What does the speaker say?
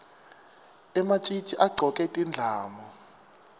ematjitji agcoke tindlamu